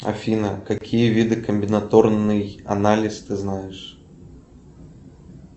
афина какие виды комбинаторный анализ ты знаешь